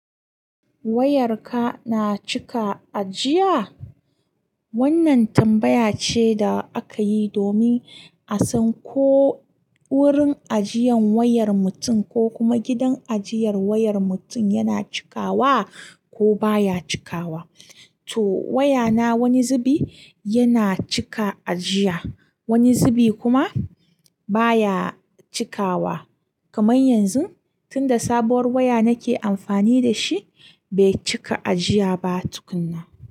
"Wayarka na cika ajiya?" Wannan tambaya ce da aka yi domin a san ko wurin ajiyan wayar mutum ko kuma gidan ajiyar wayar mutum yana cikawa ko baya cikawa. To wayana wani zubi yana cika ajiya, wani zubi kuma baya cikawa. Kaman yanzu, tunda sabuwar waya nake amfani da shi, bai cika ajiya ba tukuna.